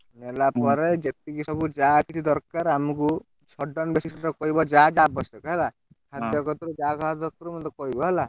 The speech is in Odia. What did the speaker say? ନେଲା ପରେ ଯେତିକି ସବୁ ଯାହା କିଛି ଦରକାରେ ଅମକୁ shutdown basis ରେ କହିବ ଯାହା ଆବଶ୍ୟକ ହେଲା, ଖାଦ୍ୟ କତରୁ ଯାହା ଯାହା ସବୁ ଦରକାର ମତେ କହିବ ହେଲା।